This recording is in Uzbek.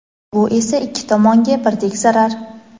Bu esa ikki tomonga birdek zarar.